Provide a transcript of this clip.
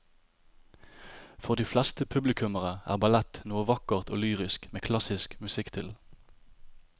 For de fleste publikummere er ballett noe vakkert og lyrisk med klassisk musikk til.